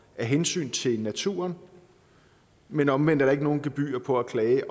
hensyn til naturen men omvendt er der ikke noget gebyr på at klage